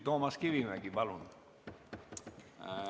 Toomas Kivimägi, palun!